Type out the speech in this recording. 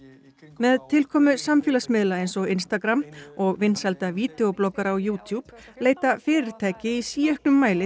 með tilkomu samfélagsmiðla eins og og vinsælda vídeó bloggara á leita fyrirtæki í síauknum mæli